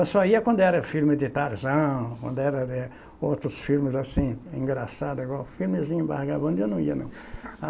Eu só ia quando era filme de Tarzan, quando era de outros filmes assim, engraçado agora filmezinho vagabundo, eu não ia não. A